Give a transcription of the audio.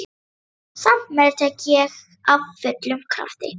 Samt meðtek ég af fullum krafti.